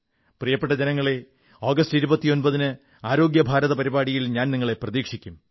പ്രിയപ്പെട്ട ജനങ്ങളേ ആഗസ്റ്റ് 29 ന് ആരോഗ്യഭാരത പരിപാടിയിൽ ഞാൻ നിങ്ങളെ പ്രതീക്ഷിക്കും